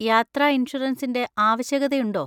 യാത്ര ഇൻഷുറൻസിന്‍റെ ആവശ്യകതയുണ്ടോ?